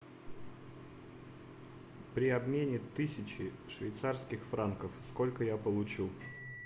при обмене тысячи швейцарских франков сколько я получу